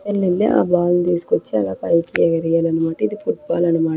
ఏళ్లెల్లి ఆ బాల్ తీసుకొచ్చి అలా పైకి ఎగరేయలనమాట ఇది ఫుట్బాల్ అన్నమాట.